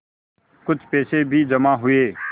कुछ पैसे भी जमा हुए